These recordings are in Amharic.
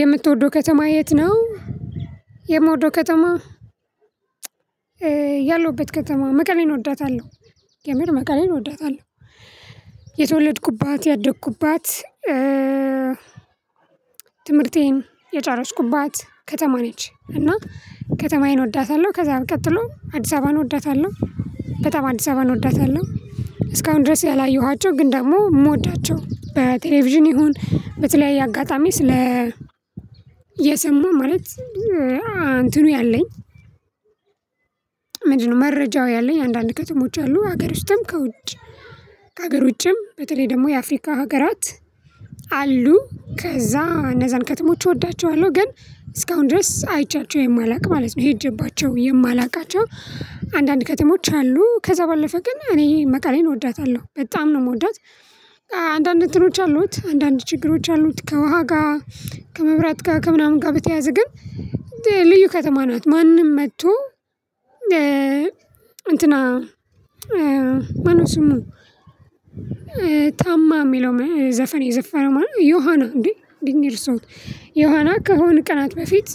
የምትወደው ከተማ የት ነው? የምወደው ከተማ። ያለውበት ከተማ መቀሌን እወዳታለሁ። የምር መቀሌን እወዳታለሁ። የተወለድኩባት ያደግኩባት። ትምህርቴን የጨረስኩባት ከተማ ነች እና። ከተማዬን እወዳታለሁ ከዛም ቀጥሎ አዲስ አበባን እወዳታለሁ ከተማ አዲስ አበባን እወዳታለሁ። እስካሁን ድረስ ያላየኋቸው ግን ደግሞ የምወዳቸው በቴሌቪዥን ይሁን በተለያየ አጋጣሚ ስለ የሰማሁ ማለት አንትኑ ያለኝ። ምንድነው? መረጃው ያለኝ አንዳንድ ከተሞች አሉ ሀገር ውስጥም ከውጭ ከሀገር ውጭም በተለይ ደግሞ የአፍሪካ ሀገራት። አሉ ከዛ እነዛን ከተሞች እወዳቸዋለሁ። ግን እስካሁን ድረስ አይቻቸው የማላውቅ ማለት ነው ሄጄባቸው የማላውቃቸው። አንዳንድ ከተሞች አሉ ከዛ ባለፈ ግን እኔ መቀሌን እወዳታለሁ በጣም ነው የምወዳት። አንዳንድ እንትኖች አሉት አንዳንድ ችግሮች አሉት ከውሃ ጋር ከመብራት ጋር ከምናምን ጋር በተያያዘ ግን ልዩ ከተማ ናት። ማንም መጥቶ እንትና ማነው? ስሙ? ታማ የሚለው ዘፈን የዘፈነ ማለት ነው ዮሃና እንዴ ዲኒር ሰው ዮሃና ከሆነ ቀናት በፊት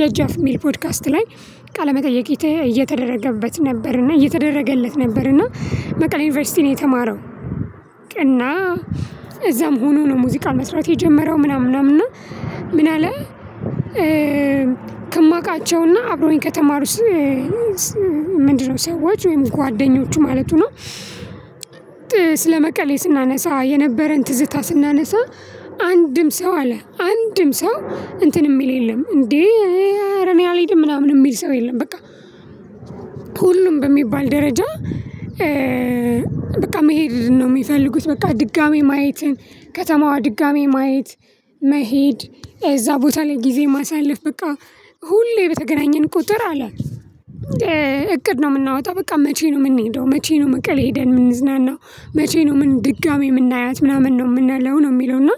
ደጃፍ የሚል ፖድካስት ላይ ቃለ መጠይቅ እየተደረገበት ነበር እና እየተደረገለት ነበር እና መቀሌ ዩኒቨርሲቲ ነው የተማረው። እና እዛም ሆኖ ነው ሙዚቃ መስራት የጀመረው ምናምን ምናምን ምናልባት ከማውቃቸው እና አብሮኝ ከተማሩስ። ምንድነው? ሰዎች ወይም ጓደኞቹ ማለቱ ነው። ስለመቀሌ ስናነሳ የነበረን ትዝታ ስናነሳ አንድም ሰው አለ አንድም ሰው እንትን የሚል የለም እንዴ? እኔ አልሄድም ምናምን የሚል ሰው የለም። በቃ ሁሉም በሚባል ደረጃ በቃ መሄድ ነው የሚፈልጉት። በቃ ድጋሚ ማየትን ከተማዋ ድጋሚ ማየት መሄድ እዛ ቦታ ላይ ጊዜ ማሳለፍ በቃ ሁሌ በተገናኘን ቁጥር አለ። እቅድ ነው የምናወጣው በቃ መቼ ነው የምንሄደው? መቼ ነው መቀሌ ሄደን የምንዝናናው? መቼ ነው የምን ድጋሜ የምናያት ምናምን ነው? የምናለው ነው የሚለው እና።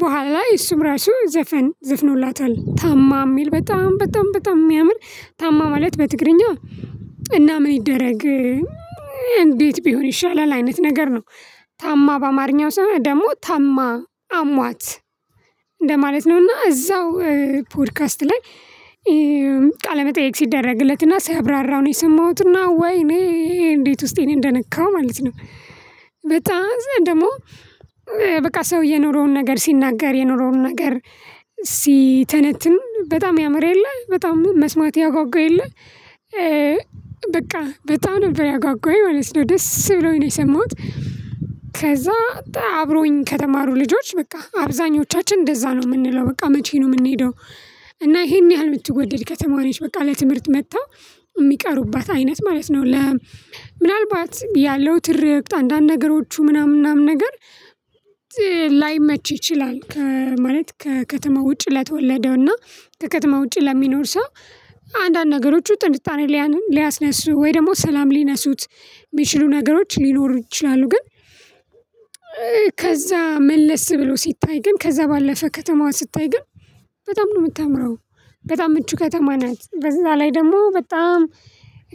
በኋላ እሱም ራሱ ዘፈን ዝፍኖላታል ታማ የሚል በጣም በጣም በጣም የሚያምር ታማ ማለት በትግርኛ እና ምን ይደረግ? እንዴት ቢሆን ይሻላል? አይነት ነገር ነው። ታማ በአማርኛው ሲሆን ደግሞ ታማ አሟት እንደማለት ነው። እና እዛው ፖድካስት ላይ ቃለመጠየቅ ሲደረግለት እና ሲያብራራው ነው የሰማሁት። እና ወይ እኔ እንዴት ውስጤን እንደነካሁ ማለት ነው። በጣም ደግሞ በቃ ሰው የኑሮውን ነገር ሲናገር የኑሮውን ነገር ሲተነትን በጣም ያምር የለ በጣም መስማት ያጓጓ የለ። በቃ በጣም ነበር ያጓጓኝ ማለት ነው ደስ ብሎኝ ነው የሰማሁት። ከዛ አብሮኝ ከተማሩ ልጆች በቃ አብዛኞቻችን እንደዛ ነው የምንለው በቃ መቼ ነው የምንሄደው? እና ይሄን ያህል የምትወደድ ከተማዋ ነች። በቃ ለትምህርት መጥተው የሚቀሩባት አይነት ማለት ነው። ለ ምናልባት ያለው ትርክት አንዳንድ ነገሮቹ ምናምን ምናምን ነገር ላይመች ይችላል። ማለት ከከተማ ውጪ ለተወለደው እና ከከተማ ውጪ ለሚኖር ሰው አንዳንድ ነገሮች ጥርጣሬ ሊያስነሱ ወይ ደግሞ ሰላም ሊነሱት የሚችሉ ነገሮች ሊኖሩ ይችላሉ። ግን ከዛ መለስ ብሎ ሲታይ ግን ከዛ ባለፈ ከተማዋ ስታይ ግን በጣም ነው የምታምረው። በጣም ምቹ ከተማ ናት። በዛ ላይ ደግሞ በጣም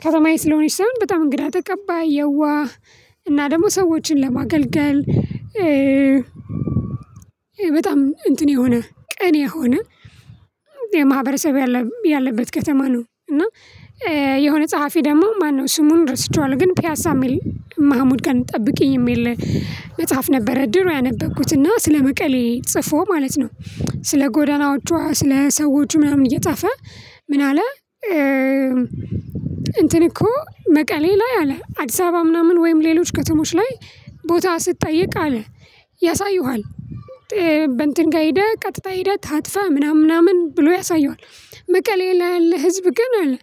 ከተማዬ ስለሆነች ሳይሆን በጣም እንግዳ ተቀባይ የዋህ እና ደግሞ ሰዎችን ለማገልገል። በጣም እንትን የሆነ ቅን የሆነ የማህበረሰብ ያለበት ከተማ ነው። እና የሆነ ጸሐፊ ደግሞ ማነው? ስሙን ረስቼዋላው ግን ፒያሳ የሚል ማህሙድ ቀን ጠብቂኝ የሚል መጽሐፍ ነበረ ድሮ ያነበብኩት እና ስለመቀሌ ጽፎ ማለት ነው። ስለ ጎዳናዎቿ ስለ ሰዎቹ ምናምን እየጻፈ ምን አለ? እንትን እኮ መቀሌ ላይ አለ አዲስ አበባ ምናምን ወይም ሌሎች ከተሞች ላይ ቦታ ስትጠየቅ አለ ያሳየዋል። በእንትን ጋር ሄደህ ቀጥታ ሄደህ ታጥፋ ምናምን ምናምን ብሎ ያሳዩሃል። መቀሌ ያለ ህዝብ ግን አለ።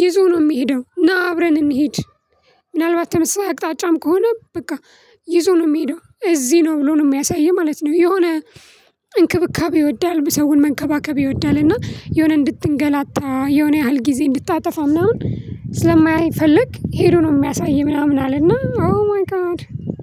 ይዞ ነው የሚሄደው ና አብረን እንህድ። ምናልባት ተመሳሳይ አቅጣጫም ከሆነ በቃ ይዞ ነው የሚሄደው እዚህ ነው ብሎ ነው የሚያሳይህ ማለት ነው። የሆነ እንክብካቤ ይወዳል ሰውን መንከባከብ ይወዳል እና የሆነ እንድትንጋላታ የሆነ ያህል ጊዜ እንድታጠፋ ምናምን ስለማይፈልግ ሄዶ ነው የሚያሳይ ምናምን አለና ኦ ማይ ጋድ።